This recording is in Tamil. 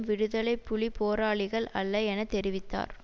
விடுதலை புலி போராளிகள் அல்ல என தெரிவித்தார்